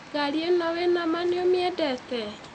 Ngaari ĩno wĩna ma nĩ ũmĩendete.